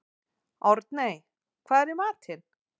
Árney, hvað er í matinn?